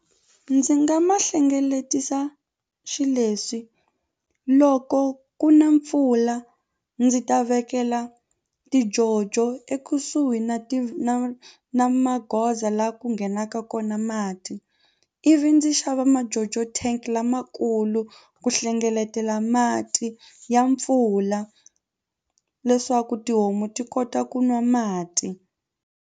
Ndzi nga ma hlengeletisa xileswi loko ku na mpfula ndzi ta vekela tijojo ekusuhi na ti na na magoza la ku ku nghenaka kona mati ivi ndzi xava majojo tank lamakulu ku hlengeletela mati ya mpfula leswaku tihomu ti kota ku nwa mati.